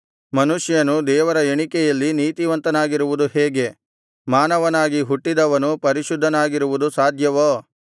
ಮನುಷ್ಯನು ದೇವರ ಎಣಿಕೆಯಲ್ಲಿ ನೀತಿವಂತನಾಗಿರುವುದು ಹೇಗೆ ಮಾನವನಾಗಿ ಹುಟ್ಟಿದವನು ಪರಿಶುದ್ಧನಾಗಿರುವುದು ಸಾಧ್ಯವೋ